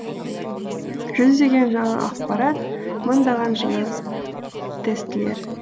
жүздеген жаңа ақпарат мыңдаған жаңа тестілер